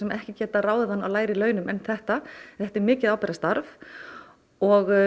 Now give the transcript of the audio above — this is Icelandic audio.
ekki getað ráðið hann á lægri launum en þetta þetta er mikið ábyrgðarstarf og